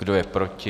Kdo je proti?